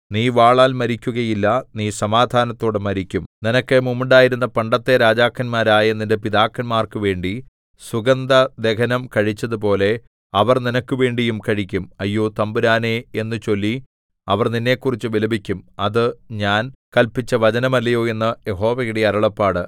നീ വാളാൽ മരിക്കുകയില്ല നീ സമാധാനത്തോടെ മരിക്കും നിനക്ക് മുമ്പുണ്ടായിരുന്ന പണ്ടത്തെ രാജാക്കന്മാരായ നിന്റെ പിതാക്കന്മാർക്കു വേണ്ടി സുഗന്ധദഹനം കഴിച്ചതുപോലെ അവർ നിനക്കുവേണ്ടിയും കഴിക്കും അയ്യോ തമ്പുരാനേ എന്നു ചൊല്ലി അവർ നിന്നെക്കുറിച്ച് വിലപിക്കും അത് ഞാൻ കല്പിച്ച വചനമല്ലയോ എന്ന് യഹോവയുടെ അരുളപ്പാട്